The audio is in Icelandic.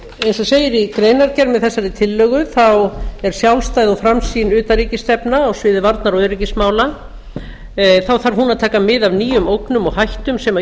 eins og segir í greinargerð með þessari tillögu er sjálfstæð og framsýn utanríkisstefna á sviði varnar og öryggismála þá þarf hún að taka mið af nýjum ógnum og hættum sem íslendingum